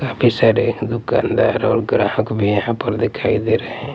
काफी सारे दुकानदार और ग्राहक भी यहाँ पर दिखाई दे रहे हैं हैं।